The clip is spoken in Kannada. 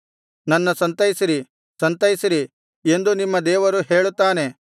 ನನ್ನ ಸಂತೈಸಿರಿ ಸಂತೈಸಿರಿ ಎಂದು ನಿಮ್ಮ ದೇವರು ಹೇಳುತ್ತಾನೆ